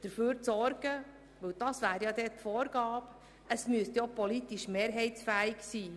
Diese müssten ja auch politisch mehrheitsfähig sein.